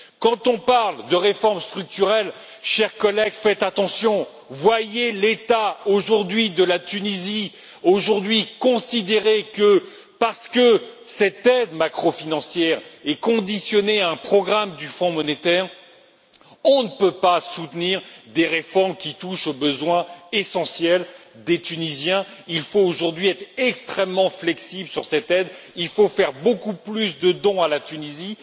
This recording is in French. Quand on parle de réformes structurelles, chers collègues, faites attention, voyez l'état aujourd'hui de la Tunisie, considérez que, parce que cette aide macro financière est conditionnée à un programme du Fonds monétaire, on ne peut pas soutenir des réformes qui touchent aux besoins essentiels des Tunisiens. Il faut aujourd'hui être extrêmement flexible sur cette aide, il faut faire beaucoup plus de dons à la Tunisie.